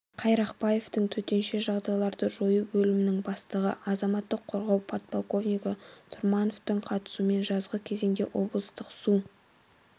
қайрақбаевтың төтенше жағдайларды жою бөлімінің бастығы азаматтық қорғау подполковнигі тұрмановтың қатысуымен жазғы кезеңде облыстың су